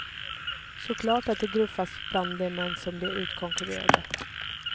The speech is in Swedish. Så klart att det gruffas bland de män som blir utkonkurrerade.